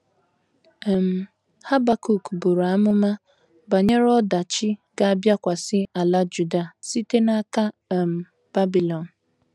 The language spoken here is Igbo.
um Habakuk buru amụma banyere ọdachi ga - abịakwasị ala Juda site n’aka um Babilọn